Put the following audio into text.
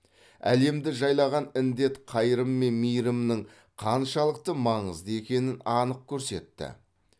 әлемді жайлаған індет қайырым мен мейірімнің қаншалықты маңызды екенін анық көрсетті